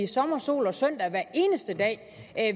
sommer sol og søndag hver eneste dag